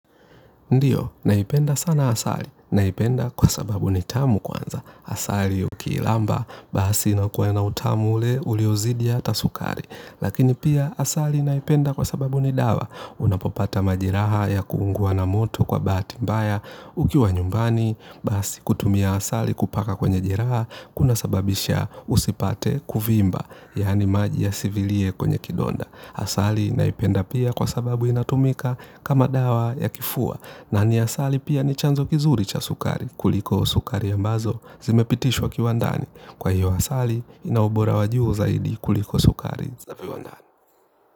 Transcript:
Ndiyo, naipenda sana asali. Naipenda kwa sababu ni tamu kwanza. Asali uki ilamba, basi nakuwa na utamu ule uliozidi ata sukari. Lakini pia asali naipenda kwa sababu ni dawa. Unapopata majeraha ya kuungua na moto kwa bati mbaya ukiwa nyumbani, basi kutumia asali kupaka kwenye jeraha, kuna sababisha usipate kuvimba, yani maji ya sivilie kwenye kidonda. Asali naipenda pia kwa sababu inatumika kama dawa ya kifua na ni asali pia ni chanzo kizuri cha sukari kuliko sukari ambazo zimepitishwa kiwandani. Kwa hiyo asali inaubora wa juhu zaidi kuliko sukari za fiwandani.